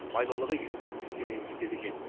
майлылығы елу процентке дейін жетеді екен